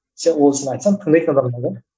сен айтсаң тыңдайтын адамдар да